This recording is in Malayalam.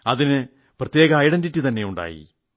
അതിന് പ്രത്യേക ഐഡന്റിറ്റി തന്നെ ഉണ്ടായി